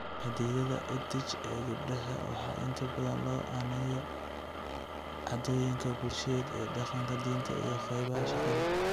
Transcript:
Xaddidaadda EdTech ee gabdhaha waxaa inta badan loo aaneeyaa caadooyinka bulsheed ee dhaqanka, diinta, iyo qaybaha shaqada.